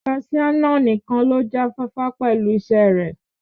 Kaṣiá náà nìkan ló já fáfá pẹ̀lú isẹ́ rè.